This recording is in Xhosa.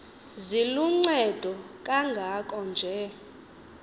ziluncedo kangako nje